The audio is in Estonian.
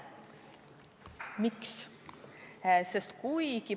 Miks?